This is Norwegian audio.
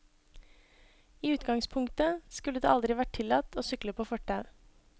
I utgangspunktet skulle det aldri vært tillatt å sykle på fortau.